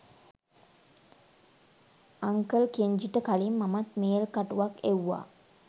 uncle කෙන්ජිට කලින් මමත් මේල් කටුවක් එවුවා